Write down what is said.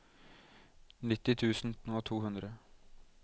nitti tusen og to hundre